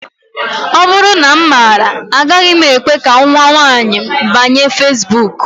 Ọ bụrụ na m maara, agaghị m ekwe ka nnwa m nwaanyị banye feesbuk